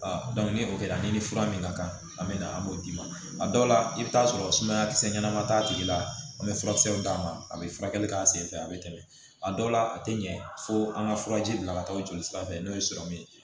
ni o kɛra ni fura min ka kan an bɛ na an b'o d'i ma a dɔw la i bɛ taa sɔrɔ sumaya kisɛ ɲɛnama t'a tigi la an bɛ furakisɛw d'a ma a bɛ furakɛli kɛ a sen fɛ a bɛ tɛmɛ a dɔw la a tɛ ɲɛ fo an ka furaji bila ka taa jolisira fɛ n'o ye ye